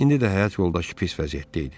İndi də həyat yoldaşı pis vəziyyətdə idi.